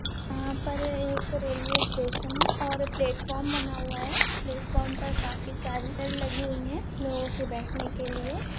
यहाँ पर एक रेल्वे स्टेशन हैं और प्लेटफ़ॉर्म बना हुआ हैं प्लेटफ़ॉर्म पर काफि सारी चेयर लगी हुई हैं लोगों को बैठने के लिये।